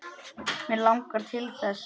Mig langar til þess.